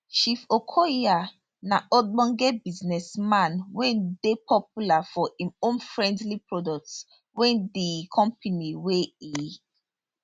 chief okoya na ogbonge businessman wey dey popular for im homefriendly products wey di company wey e